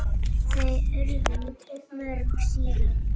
Þau urðu mörg síðan.